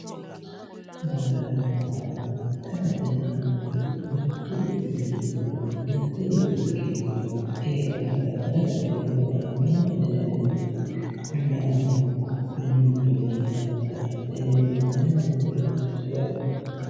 Daganna maate mittu quchumi giddo heedhannota dagate yinummoro maatete yineemmori ollaho ikkiro mini giddo heedhannota tenne maatete yinanni.